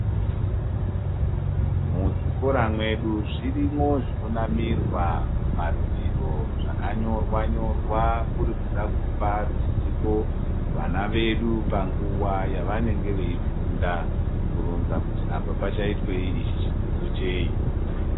Muzvikora mwedu zvirimwo zvinonamirwa mumadziro zvakanyorwa-nyorwa kuri kuda kupa ruzivo kuvana vedu panguwa yavanenge veifunda, kuronza kuti apa pachaitwei, ichi chidzidzo chei.